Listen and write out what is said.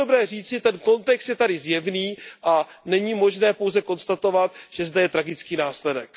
A to je dobré říci, ten kontext je tady zjevný a není možné pouze konstatovat, že je zde tragický následek.